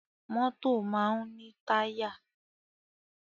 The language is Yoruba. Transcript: Mọ́tọ̀ máa ń ní táyà.